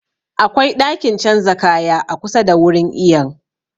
Akwai ɗakin canza kaya a kusa da wurin iyon